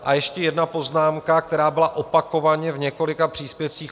A ještě jedna poznámka, která byla opakovaně v několika příspěvcích.